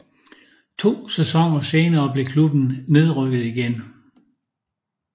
To sæsoner senere blev klubben nedrykket igen